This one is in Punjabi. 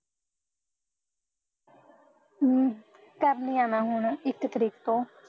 ਅਮ ਕਰਣੀ ਐ ਨਾ ਹੁਣ ਇੱਕ ਤਰੀਕ ਤੋਂ